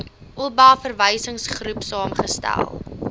oba verwysingsgroep saamgestel